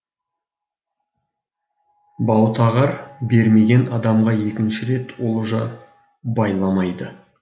баутағар бермеген адамға екінші рет олжа байламайды